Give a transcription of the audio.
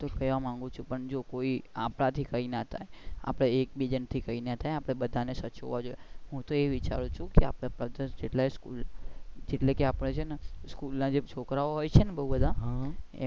હું પણ એજ કેવા માંગુ છુ પણ જો આપણા થી કઈ ના થાય આપણા એક બીજા થી કઈ ના થાય આપણે બધા ને સમજવા જોઈએ હું તો એ વિચારું છુ કે આપણી પાસે એટલે કે આપણે છે ને સ્કૂલ ના છોકરા ઓ હોય છે ને બઉ બધા,